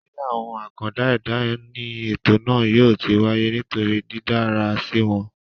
ilé àwọn àkàndá ẹ̀dá ní ètò náà yóò ti wáyé nítorí dídára síi wọn